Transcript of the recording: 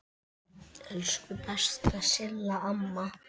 Elsku besta Silla amma.